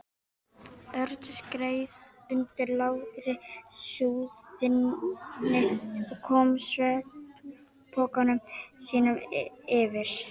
Örn skreið undir lágri súðinni og kom svefnpokanum sínum fyrir.